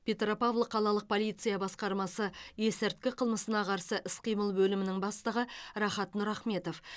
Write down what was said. петропавл қалалық полиция басқармасы есірткі қылмысына қарсы іс қимыл бөлімінің бастығы рахат нұрахметов